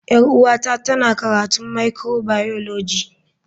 Yar uwata tana karatun microbiology.